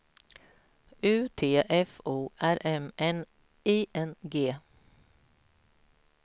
U T F O R M N I N G